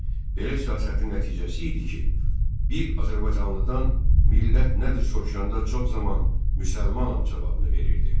Belə siyasətin nəticəsi idi ki, bir azərbaycanlıdan millət nədir soruşanda çox zaman müsəlmanam cavabını verirdi.